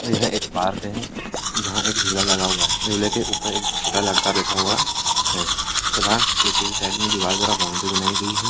ये एक पार्क है जहाँ एक झूला लगा हुआ है झूले के ऊपर एक छोटा लड़का बैठ हुआ है तथा पीछे से साइड में दीवारों की तरफ बाउन्ड्री बनाई हुई है।